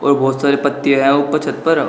बहुत सारी पत्तियां है ऊपर छत पर।